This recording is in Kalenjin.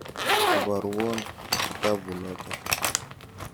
Iporwon kitaput notok.